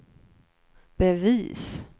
bevis